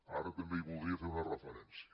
ara també hi voldria fer una referència